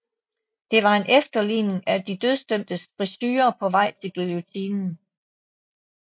Det var en efterligning af de dødsdømtes frisurer på vej til guillotinen